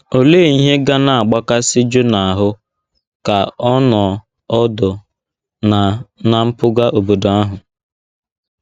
Olee ihe ga na - agbakasị Jona ahụ́ ka ọ nọ ọdụ ná ná mpụga obodo ahụ?